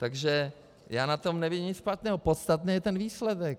Takže já na tom nevidím nic špatného, podstatný je ten výsledek.